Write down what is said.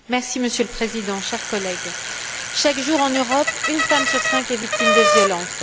Monsieur le Président, chers collègues, chaque jour, en Europe, une femme sur cinq est victime de violences.